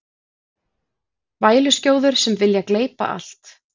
Væluskjóður sem vilja gleypa allt